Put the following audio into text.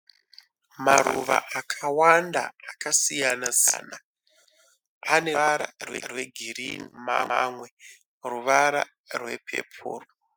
Maruva akawanda akasiyana siyana. Pane mamwe ane ruvara rwegirinhi mamwe ane ruvara rwepepuro.